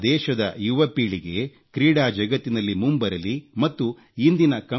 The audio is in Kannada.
ನಮ್ಮ ದೇಶದ ಯುವ ಪೀಳಿಗೆ ಕ್ರೀಡಾ ಜಗತ್ತಿನಲ್ಲಿ ಮುಂಬರಲಿ ಮತ್ತು ಇಂದಿನ